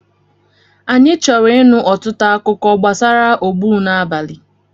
Anyị chọrọ ịnụ ọtụtụ akụkọ gbasara ogbunabali.